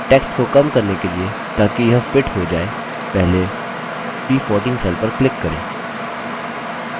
text को कम करने के लिए ताकि यह fits हो जाय पहले b14 cell पर click करें